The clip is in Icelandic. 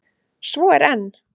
Svo er enn!